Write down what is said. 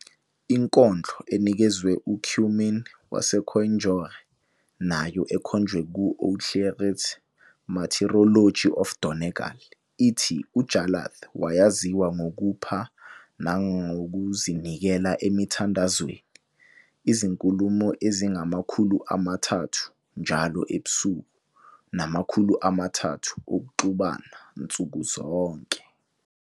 Inkondlo enikezwe uCuimmín waseCoindeire, nayo ekhonjwe ku-Ó Cléirigh's "Martyrology of Donegal", ithi uJarlath wayaziwa ngokupha nangokuzinikela emthandazweni, " izinkulumo ezingamakhulu amathathu njalo ebusuku, namakhulu amathathu okuxubana nsuku zonke".